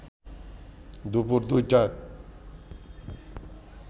দুপুর ২টায়